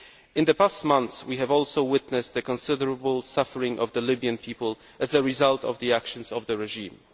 In the past months we have also witnessed the considerable suffering of the Libyan people as a result of the actions of the regime.